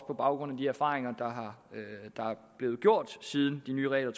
på baggrund af de erfaringer der er blevet gjort siden de nye regler